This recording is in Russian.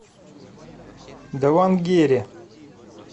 давангере